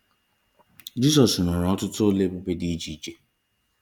Jizọs rụrụ ọtụtụ ọlụ ebube dị iche iche